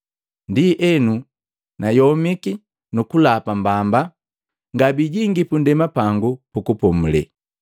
Ndienu nayomiki nukulapa mbamba: ‘Ngabijingi punndema pangu pukupomule.’ ”